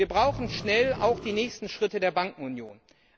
Wir brauchen schnell auch die nächsten Schritte der Bankenunion.